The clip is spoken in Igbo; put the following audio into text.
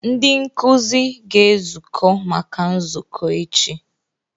Ndị nkuzi ga-ezukọ maka nzukọ echi.